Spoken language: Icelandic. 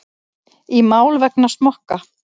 Í mál vegna smokka